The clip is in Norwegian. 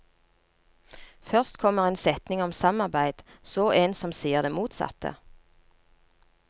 Først kommer en setning om samarbeid, så en som sier det motsatte.